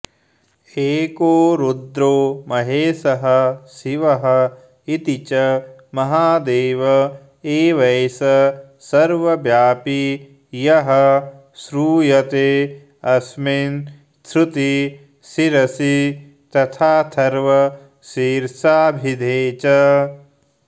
एको रुद्रो महेशः शिव इति च महादेव एवैष सर्व व्यापी यः श्रूयतेऽस्मिंच्छ्रुतिशिरसि तथाथर्वशीर्षाभिधे च